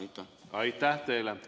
Aitäh teile!